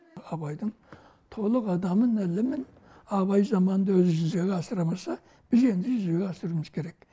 абайдың толық адамын ілімін абай заманында жүзеге асыра алмаса біз енді жүзеге асыруымыз керек